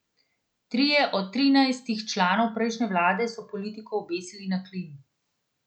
Trije od trinajstih članov prejšnje vlade so politiko obesili na klin.